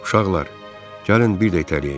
Uşaqlar, gəlin bir də itələyək.